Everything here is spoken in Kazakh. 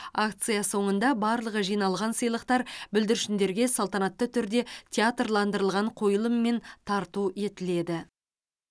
акция соныңда барлық жиналған сыйлықтар бүлдіршіндерге салтанатты түрде театрландырылған қойылыммен тарту етіледі